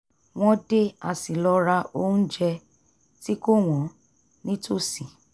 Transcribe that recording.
wọ́n dé a sì lọ ra onjẹ tí kò wọ́n nítòsí